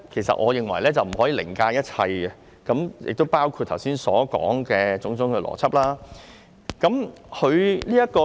所以，我認為效率不可以凌駕一切，包括我剛才所說的種種邏輯。